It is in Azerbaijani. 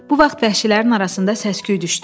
Bu vaxt vəhşilərin arasında səs-küy düşdü.